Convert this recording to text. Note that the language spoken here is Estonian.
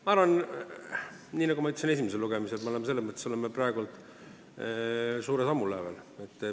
Ma arvan, nii nagu ma ütlesin ka esimesel lugemisel, et me oleme praegu suure sammu lävel.